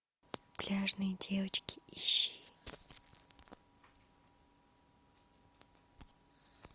пляжные девочки ищи